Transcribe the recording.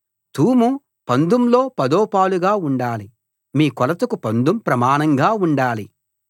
తూము పందుంలో పదో పాలుగా ఉండాలి మీ కొలతకు పందుం ప్రమాణంగా ఉండాలి